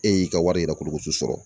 E y'i ka wari yɛrɛ kurukutu sɔrɔ